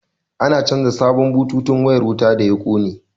An canja sabon bututun wayar wuta da ya kone